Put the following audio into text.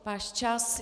Váš čas.